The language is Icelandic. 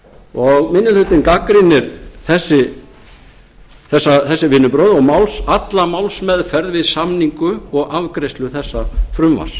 þær komust ekki að og minni hlutinn gagnrýnir þessi vinnubrögð og alla málsmeðferð við samningu og afgreiðslu þessa frumvarps